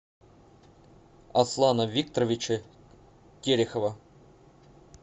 аслана викторовича терехова